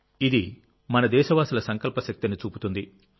ఇది మన దేశవాసుల సంకల్ప శక్తిని చూపుతుంది